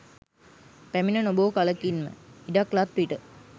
පැමින නොබෝ කලකින්ම ඉඩක් ලත් විට